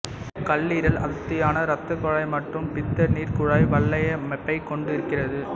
கல்லீரல் அடர்த்தியான இரத்தக் குழாய் மற்றும் பித்தநீர்க் குழாய் வலையமைப்பைக் கொண்டிருக்கிறது